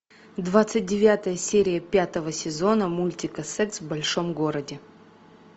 двадцать девятая серия пятого сезона мультика секс в большом городе